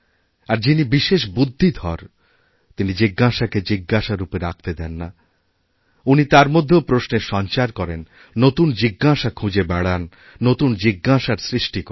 আর যিনিবিশেষ বুদ্ধিধর তিনি জিজ্ঞাসাকে জিজ্ঞাসা রূপে রাখতে দেন না উনি তার মধ্যেওপ্রশ্নের সঞ্চার করেন নতুন জিজ্ঞাসা খুঁজে বেড়ান নতুন জিজ্ঞাসার সৃষ্টি করেন